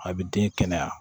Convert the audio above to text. A bɛ den kɛnɛya